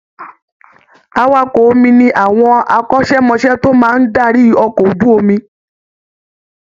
Awakọ̀ omi ni àwọn akọ́ṣẹ́mọṣẹ́ tó máa ń darí ọkọ̀ ojú omi